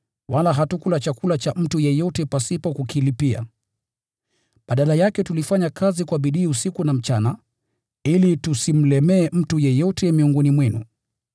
wala hatukula chakula cha mtu yeyote pasipo kukilipia. Badala yake tulifanya kazi kwa bidii usiku na mchana, ili tusimlemee mtu yeyote miongoni mwenu.